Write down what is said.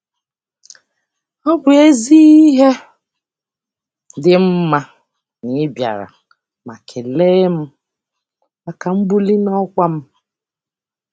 Ọ bụ ezi ihe dị mma na ị bịara ma kelee m maka mbuli n'ọkwa m.